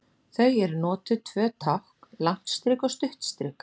Þar eru notuð tvö tákn, langt strik og stutt strik.